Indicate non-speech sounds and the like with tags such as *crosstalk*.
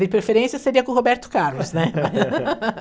De preferência, seria com o Roberto Carlos, né? *laughs*